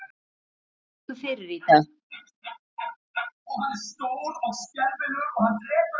Hvað liggur fyrir í dag?